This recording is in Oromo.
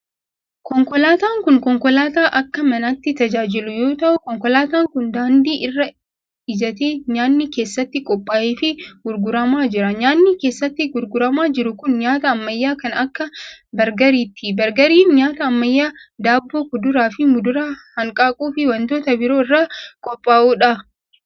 Konkolaataan kun, konkolaataa akka manaatti tajaajilu yoo ta'u, konkolaataan kun daandii irra ijjatee nyaanni keessatti qopha'aa fi gurguramaa jira. Nyaanni keessatti gurguramaa jiru kun, nyaata ammayyaa kan akka bargariiti. Bargariin nyaata ammayyaa daabboo, kuduraa fi muduraa, hanqaaquu fi wantoota biroo irraa qophaa'u dha.